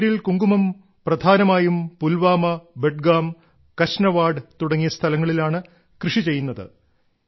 കശ്മീരിൽ കുങ്കുമം പ്രധാനമായും പുൽവാമ ബഡ്ഗാം കശ്നവാഡ് തുടങ്ങിയ സ്ഥലങ്ങളിലാണ് കൃഷിചെയ്യുന്നത്